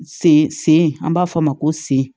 Sen an b'a fɔ o ma ko sen